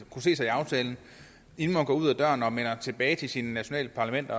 kunne se sig i aftalen inden man går ud ad døren og melder tilbage til sit nationale parlament